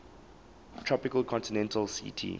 tropical continental ct